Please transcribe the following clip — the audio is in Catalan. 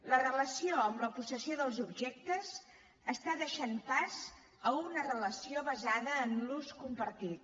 la relació amb la possessió dels objectes està deixant pas a una relació basada en l’ús compartit